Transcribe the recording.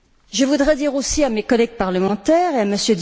Je voudrais dire aussi à mes collègues parlementaires et à M.